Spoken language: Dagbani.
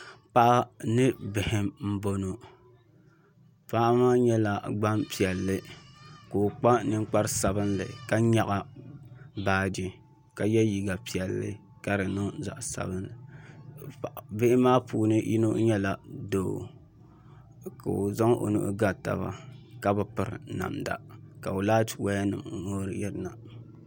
Paɣa ni bihi n bɔŋɔ paɣa maa nyɛla Gbanpiɛli ka o kpa ninkpari sabinli ka nyaɣa baaji ka yɛ liiga piɛlli ka di niŋ zaɣ sabinli bihi maa puuni yino nyɛla doo ka o zaŋ o nuhi ga taba ka bi piri namda ka laati woya nim ŋoori yirina